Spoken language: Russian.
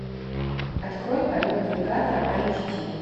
открой полет навигатора айч ди